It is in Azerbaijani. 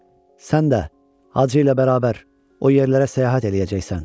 Sən də Hacı ilə bərabər o yerlərə səyahət eləyəcəksən.